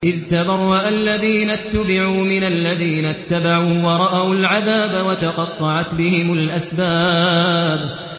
إِذْ تَبَرَّأَ الَّذِينَ اتُّبِعُوا مِنَ الَّذِينَ اتَّبَعُوا وَرَأَوُا الْعَذَابَ وَتَقَطَّعَتْ بِهِمُ الْأَسْبَابُ